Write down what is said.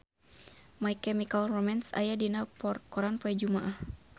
My Chemical Romance aya dina koran poe Jumaah